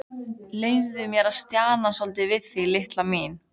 Leyfðu mér að stjana svolítið við þig, litla mín.